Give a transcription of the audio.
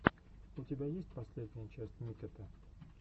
у тебя есть последняя часть миккета